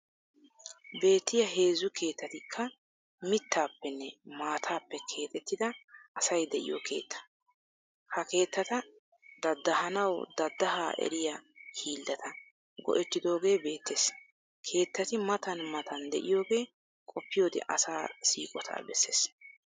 Beettiya heezzu keettatikka mittaappenne maataappe keexettida asay de'iyo keetta. Ha keettata daddahanawu daddahaa eriya hiillata go'ettidooge beettees. Keettati matan matan de'iyogee qoppiyode asaa siiqotaa bessees.